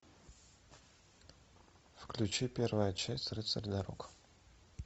включи первая часть рыцарь дорог